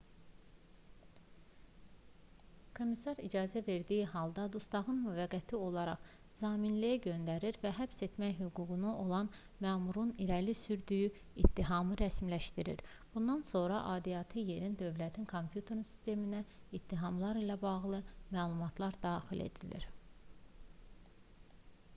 komissar icazə verildiyi halda dustağı müvəqqəti olaraq zaminliyə göndərir və həbs etmək hüququ olan məmurun irəli sürdüyü ittihamı rəsmiləşdirir bundan sonra aidiyyatı yerin dövlət kompüter sisteminə ittihamlar ilə bağlı məlumatlar daxil edilir